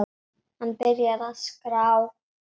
Hann byrjar að skrá.